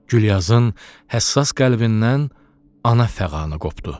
Gülyazın həssas qəlbindən ana fəğanı qopdu.